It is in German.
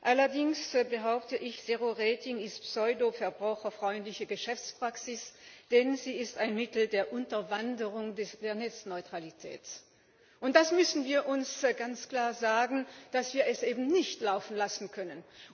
Allerdings behaupte ich zero rating ist eine pseudo verbraucherfreundliche Geschäftspraxis, denn sie ist ein Mittel der Unterwanderung der Netzneutralität. Das müssen wir uns ganz klar sagen, dass wir es eben nicht laufen lassen können.